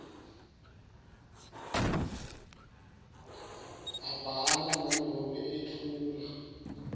abhala nanobe etfula